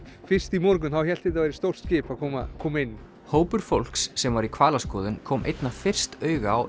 fyrst í morgun hélt þetta væri stórt skip að koma koma inn hópur fólks sem var í hvalaskoðun kom einna fyrst auga á